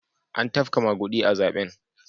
An tafka magudi a zaben.